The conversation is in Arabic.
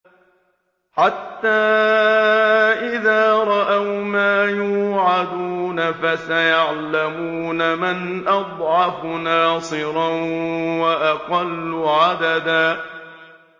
حَتَّىٰ إِذَا رَأَوْا مَا يُوعَدُونَ فَسَيَعْلَمُونَ مَنْ أَضْعَفُ نَاصِرًا وَأَقَلُّ عَدَدًا